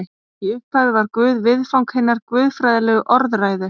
Í upphafi var Guð viðfang hinnar guðfræðilegu orðræðu.